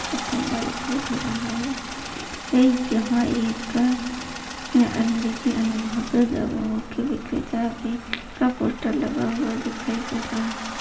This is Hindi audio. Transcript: खंभा दिखाई दे रहा है एक यहाँ एक अंग्रेजी और वहाँ पर दवाओ के विक्रेता के का पोस्टर लगा हुआ दिखाई दे रहा है।